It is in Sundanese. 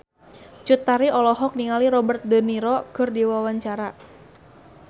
Cut Tari olohok ningali Robert de Niro keur diwawancara